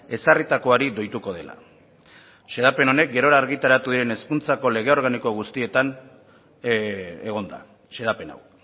ezarritakoari doituko dela xedapen honek gerora argitaratu diren hezkuntzako lege organiko guztietan egon da xedapen hau